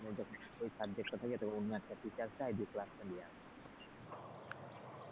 যথেষ্টই ওই subject টা থাকে তো অন্য একটা teachers নেয় দিয়ে class টা নেওয়ায়,